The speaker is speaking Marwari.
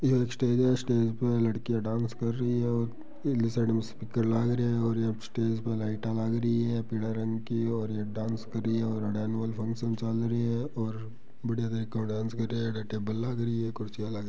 ये एक स्टेज है स्टेज पे लडकिया डांस कर रही है और उनली साइड में ओ स्पीकर लाग रे है और यह स्टेज में लाइटा लग रहे है पीला रंग की और ये डांस कर रही है और एनुअल फंक्शन चाल रिया है और बढ़िया तरीका डांस कर रही है आगे टेबल लाग रही है कुर्सी --